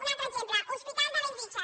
un altre exemple hospital de bellvitge